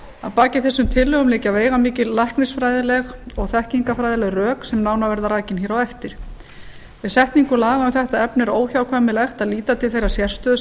að baki þessum tillögum liggja veigamikil læknisfræðileg og þekkingarfræðileg rök sem nánar verða rakin hér á eftir við setningu laga um þetta efni er óhjákvæmilegt að líta til þeirrar sérstöðu sem